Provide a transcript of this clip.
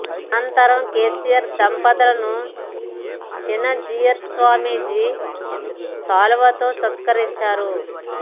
అనంతరం కెసిఆర్ దంపతులను చినజీయర్ స్వామిజీ శాలువాలతో సత్క రించారు